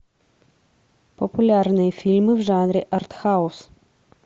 популярные фильмы в жанре артхаус